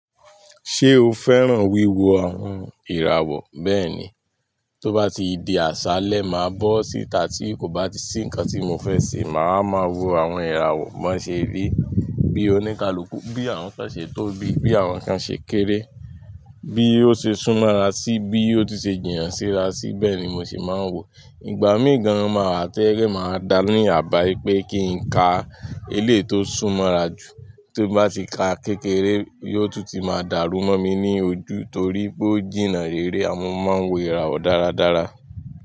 Ṣé o fẹ́ràn wíwo àwọn ìràwọ̀? Bẹ́ẹ̀ni, tó bá ti di àsálẹ́ máa bó síta tí kò bá ti sí ǹkan tí mo fẹ́ ṣe, màá ma wò àwọn ìràwọ̀. Bo n ṣe rí, bí oníkálukú, bí àwọn nkan se tó bí, bí àwọn ǹkan ṣe kéré, bí ó ṣe súnmọ́ ara sí, bí o tun ṣe jì na síra sí, bẹ́ẹ̀ ni mo ṣe máa ń wò. Ìgbà míì gan-an máa wà to je pe máa dáa ní àbá ipé kí n ka eléyi to súnmọ́'ra jù, ti n bá ti ka kékeré yóò tún ti máa dàrú mọ́ mi ní ojú torí pé ó jìnnà rere àmo mo máa ń wo ìràwọ̀ dáradára.